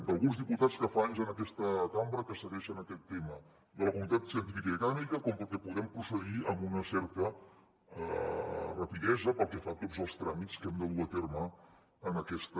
d’alguns diputats que fa anys en aquesta cambra que segueixen aquest tema de la comunitat científica i acadèmica com perquè puguem procedir amb una certa rapidesa pel que fa a tots els tràmits que hem de dur a terme en aquesta